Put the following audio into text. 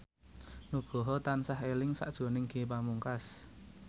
Nugroho tansah eling sakjroning Ge Pamungkas